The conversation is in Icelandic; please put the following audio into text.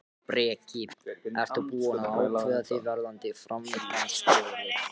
Breki: Ert þú búinn að ákveða þig varðandi formannskjörið?